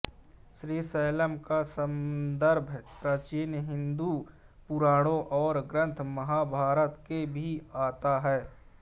श्री शैलम का सन्दर्भ प्राचीन हिन्दू पुराणों और ग्रंथ महाभारत में भी आता है